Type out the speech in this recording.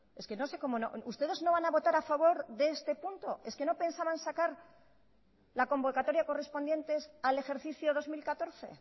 es que no sé cómo ustedes no van a votar a favor de este punto es que no pensaban sacar la convocatoria correspondientes al ejercicio dos mil catorce